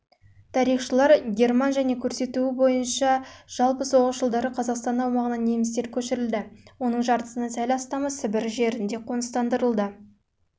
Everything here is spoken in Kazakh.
тарихшылар герман және көрсетуі бойынша жалпы соғыс жылдары қазақстан аумағына немістер көшірілді оның жартысынан сәл астамы